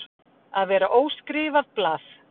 Að vera óskrifað blað